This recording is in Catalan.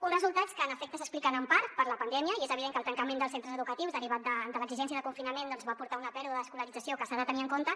uns resultats que en efecte s’expliquen en part per la pandèmia és evident que el tancament dels centres educatius derivat de l’exigència de confinament doncs va portar una pèrdua d’escolarització que s’ha de tenir en compte